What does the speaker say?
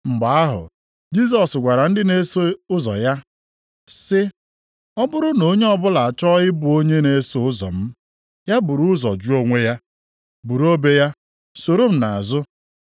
Mgbe ahụ Jisọs gwara ndị na-eso ụzọ ya sị, “Ọ bụrụ na onye ọbụla achọọ ịbụ onye na-eso ụzọ m, ya buru ụzọ jụ onwe ya, buru obe ya, soro m nʼazụ.